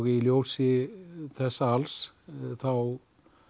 í ljósi þessa alls þá